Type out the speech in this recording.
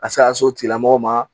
A se ka so tigilamɔgɔw ma